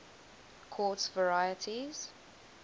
quartz varieties